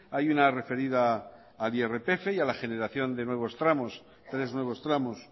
hay una referida al irpf y a la generación de nuevos tramos tres nuevos tramos